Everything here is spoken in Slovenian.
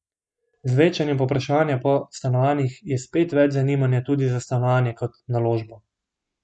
Z večanjem povpraševanja po stanovanjih je spet več zanimanja tudi za stanovanje kot naložbo.